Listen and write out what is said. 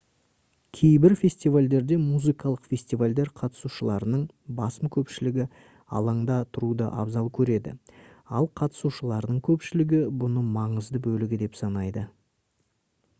кейбір фестивальдерде музыкалық фестивальдер қатысушыларының басым көпшілігі алаңда тұруды абзал көреді ал қатысушылардың көпшілігі бұны маңызды бөлігі деп санайды